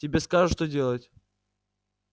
тебе скажут что делать